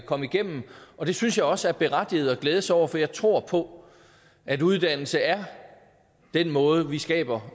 kom igennem og det synes jeg også er berettiget at glæde sig over for jeg tror på at uddannelse er den måde vi skaber